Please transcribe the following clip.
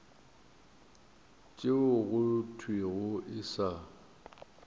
tšeo go thwego e sa